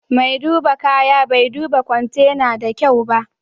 maidiba kaya bai duba kwantena na da kyau ba.